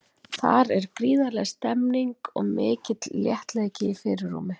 Þar er gríðarleg stemning og mikill léttleiki í fyrirrúmi.